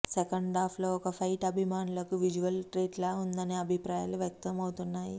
సెకండాఫ్లో ఒక ఫైట్ అభిమానులకు విజువల్ ట్రీట్లా ఉందనే అభిప్రాయాలు వ్యక్తం అవుతున్నాయి